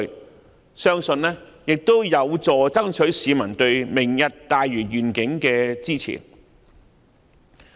我相信這亦有助爭取市民對"明日大嶼願景"的支持。